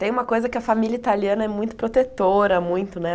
Tem uma coisa que a família italiana é muito protetora, muito, né?